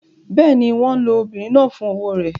Bẹ́ẹ̀ ni, wọ́n lo obìnrin náà fún owó rẹ̀.